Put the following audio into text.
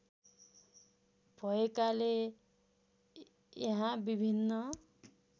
भएकाले यहाँ विभिन्न